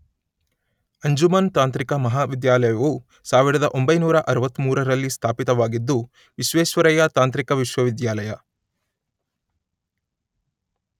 ಅಂಜುಮನ್ ತಾಂತ್ರಿಕ ಮಹಾವಿದ್ಯಾಲಯವು ಸಾವಿರದ ಒಂಬೈನೂರ ಅರುವತ್ತ ಮೂರರಲ್ಲಿ ಸ್ಥಾಪಿತವಾಗಿದ್ದು ವಿಶ್ವೇಶ್ವರಯ್ಯ ತಾಂತ್ರಿಕ ವಿಶ್ವವಿದ್ಯಾಲಯ